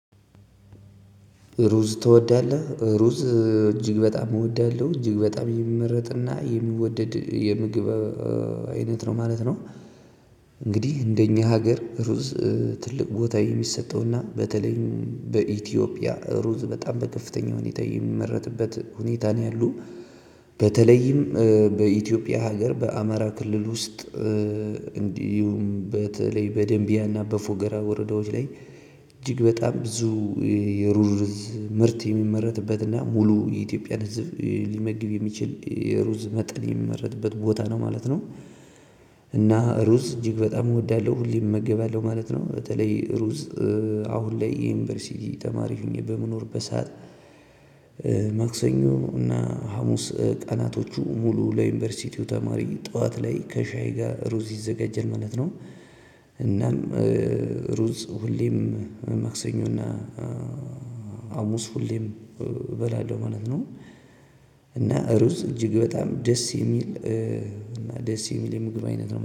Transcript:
ሩዝ ትወዳለ? ሩዝ እጅግ በጣም እወዳለሁ። እጅግ በጣም የሚመረጥና የሚወደድ የምግብ አይነት ነው ማለት ነው። እንግዲህ እንደ እኛ ሀገር ሩዝ ትልቅ ቦታ የሚሰጠውና በተለይም በኢትዮጵያ ሩዝ በጣም በከፍተኛ ሁኔታ የሚመረትበት ሁኔታ ነው ያለው። በተለይም በኢትዮጵያ ሀገር በአማራ ክልል ውስጥ እንዲሁም በተለይ በደንቢያና በፎገራ ወረዳዎች ላይ እጅግ በጣም ብዙ የሩዝ ምርት የሚመረትበትና ሙሉ የኢትዮጵያ ሊመግብ የሚችል የሩዝ መጠን የሚመረትበት ቦታ ነው ማለት ነው። እና ሩዝ እጅግ በጣም እወዳለሁ ሁለም እመጋበለሁ ማለት ነው። በተለይ ሩዝ አሁን ላይ የዩንሸርሲቲ ተማሪ ሆኜ በምኖርበት ሰዓት መክሰኞ እና ሀሙስ ቀነቶች ሙሉ ለዩንሸርሲቲ ተማሪ ጠዋት ላይከሻይ ጋር ሩዝ ይዘጋጃል ማለት ነው። እናም ሩዝ ሁሌም ማክሰኞ እና ሀሙስ ሁሌም እበላለሁ፥ ማለት ነው። እና ሩዝ እጅግ በጣም ደስ የሚል ደስ የሚል የምግብ አይነት ነው።